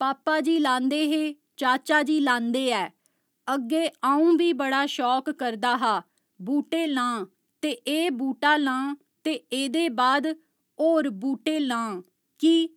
पापा जी लांदे हे चाचा जी लांदे है अग्गे अ'ऊं बी बड़ा शौक करदा हा बूहटे लां ते एह् बूह्टा लां ते ऐदे बाद होर बूह्टे लां कि